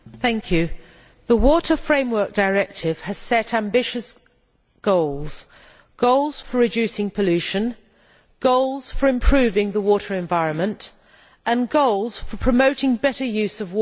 Mr President, the Water Framework Directive has set ambitious goals, goals for reducing pollution, goals for improving the water environment and goals for promoting better use of water.